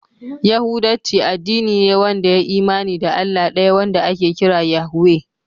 Yahudanci addini ne wanda ya yi imani da Allah ɗaya wanda ake kira Yahweh.